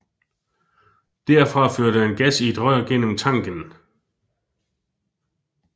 Derfra førte han gas i et rør gennem tanken